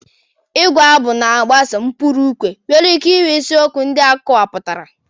Ịgu abụ na-agbaso ụkpụrụ ukwe nwere ike nwee isiokwu ndị akọwapụtara.